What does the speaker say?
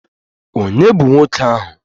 Ònye bụ nwoke ahụ?